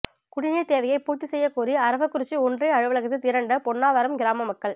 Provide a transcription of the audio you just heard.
குடிநீர் தேவையை பூர்த்தி செய்யக்கோரி அரவக்குறிச்சி ஒன்றிய அலுவலகத்தில் திரண்ட பொன்னாவரம் கிராம மக்கள்